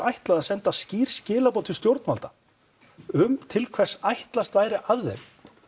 ætlað að senda skýr skilaboð til stjórnvalda um til hvers ætlast væri af þeim